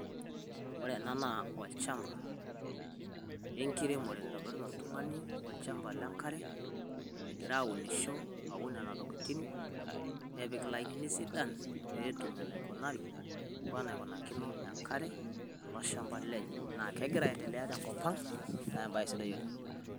Ore ena naa olchamba o nkiremore naitobirita oltung`ani olchamba le nkare egira aunisho, aun nena tokitin nepik ilainini sidan pee etum enaikunari enaikunakino enkare tolchamba lenye. Naa kegira aendelea tenkop ang naa ebaye sidai oleng.